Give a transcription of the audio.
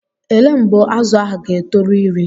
Elee mgbe azụ ahụ ga-etoru iri?